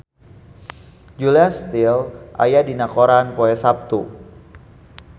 Julia Stiles aya dina koran poe Saptu